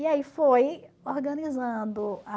E aí foi organizando a...